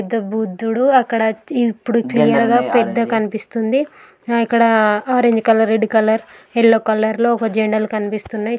పెద్ద బుద్ధుడు అక్కడ ఇపుడు పెద్దగా కన్పిస్తుంది ఇక్కడ orange colour red colour yellow colour లో జండాలు కనిపిస్తున్నాయ్.